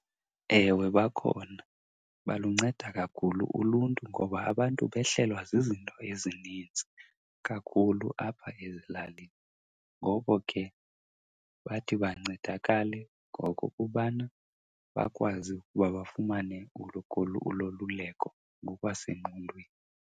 Ewe bakhona. Balunceda kakhulu uluntu ngoba abantu behlelwa zizinto ezininzi kakhulu apha ezilalini. Ngoko ke bathi bancedakale ngokokubana bakwazi ukuba bafumane uloluleko ngokwasengqondweni.